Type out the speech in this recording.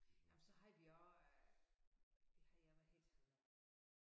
Jamen så havde vi også øh hvad havde jeg hvad hed han nu